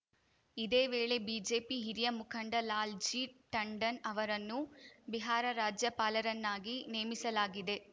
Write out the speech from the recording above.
ಇದೇ ವೇಳೆ ಬಿಜೆಪಿ ಹಿರಿಯ ಮುಖಂಡ ಲಾಲ್‌ ಜಿ ಟಂಡನ್‌ ಅವರನ್ನು ಬಿಹಾರ ರಾಜ್ಯಪಾಲರನ್ನಾಗಿ ನೇಮಿಸಲಾಗಿದೆ